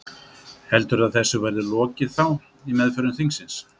Heldurðu að þessu verði lokið þá í meðförum þingsins?